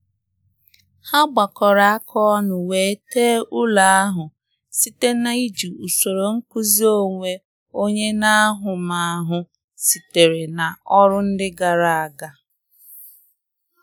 Ha gbakọrọ aka ọnụ wee tee ụlọ ahụ site na iji usoro nkụzi onwe onye na ahụmahụ sitere na ọrụ ndi gara aga aga